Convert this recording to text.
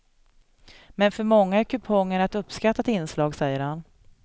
Men för många är kupongerna ett uppskattat inslag, säger han.